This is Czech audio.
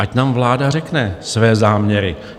Ať nám vláda řekne své záměry.